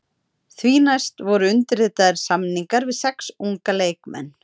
Því næst voru undirritaðir samningar við sex unga leikmenn.